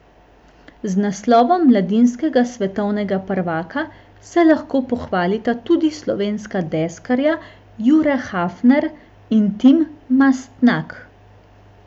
Z naslovom mladinskega svetovnega prvaka se lahko pohvalita tudi slovenska deskarja Jure Hafner in Tim Mastnak.